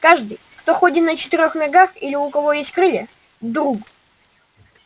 каждый кто ходит на четырёх ногах или у кого есть крылья друг